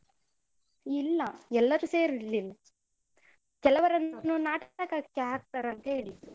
ಇಲ್ಲ, ಎಲ್ಲರೂ ಸೇರ್ಲಿಲ್ಲ. ಕೆಲವರನ್ನು ನಾಟಕಕ್ಕೆ ಹಾಕ್ತರಂತ ಹೇಳಿದ್ರು.